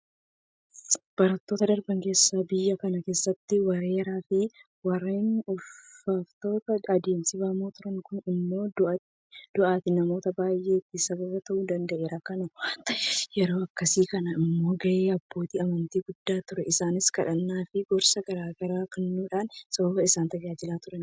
Baroota darban keessa biyya kana keessatti weeraraafi Waraanni ulfaatoon adeemsifamaa turan. Kun immoo du'aatii namoota baay'eetiif sababa ta'uu danda'eera. Kana waanta ta'eef yeroo akkasii kana immoo gaheen abbootii amantii guddaa ture. Isaanis kadhannaafi gorsa garaa garaa kennuufiidhaan saba isaanii tajaajilaa turan.